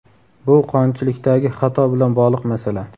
Bu qonunchilikdagi xato bilan bog‘liq masala.